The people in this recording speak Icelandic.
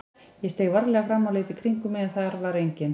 Ég steig varlega fram og leit í kringum mig en þar var enginn.